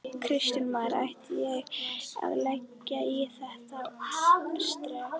Kristján Már: Ætti ég að leggja í þetta sterka?